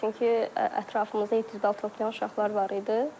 Çünki ətrafımızda 700 bal toplayan uşaqlar var idi.